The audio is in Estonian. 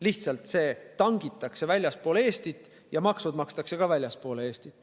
Lihtsalt see tangitakse väljaspool Eestit ja maksud makstakse ka väljaspool Eestit.